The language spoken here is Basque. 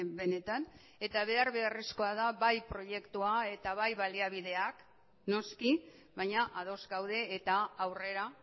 benetan eta behar beharrezkoa da bai proiektua eta bai baliabideak noski baina ados gaude eta aurrera